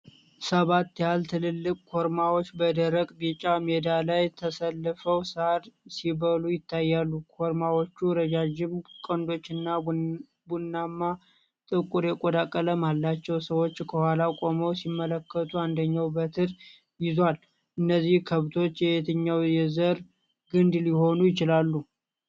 ሰባት ያህል ትላልቅ ኮርማዎች በደረቅ ቢጫ ሜዳ ላይ ተሰልፈው ሳር ሲበሉ ይታያሉ። ኮርማዎቹ ረዣዥም ቀንዶች እና ቡናማና ጥቁር የቆዳ ቀለም አላቸው። ሰዎች ከኋላ ቆመው ሲመለከቱ፣ አንደኛው በትር ይዟል። እነዚህ ከብቶች የየትኛው የዘር ግንድ ሊሆኑ ይችላሉ?